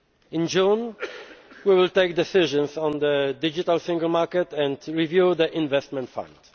May. In June, we will take decisions on the digital single market and review the Investment